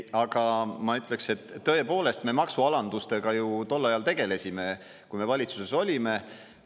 Aga ma ütleks, et tõepoolest, me maksualandustega ju tol ajal tegelesime, kui me valitsuses olime.